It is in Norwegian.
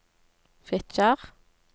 Fitjar